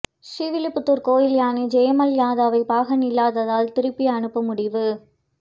ஸ்ரீவில்லிப்புத்தூர் கோயில் யானை ஜெயமால்யதாவை பாகன்கள் இல்லாததால் திருப்பி அனுப்ப முடிவு